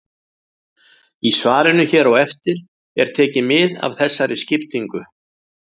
Í svarinu hér á eftir er tekið mið af þessari skiptingu.